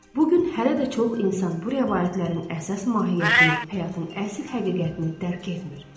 Bu gün hələ də çox insan bu rəvayətlərin əsas mahiyyətini, həyatın əsl həqiqətini dərk etmir.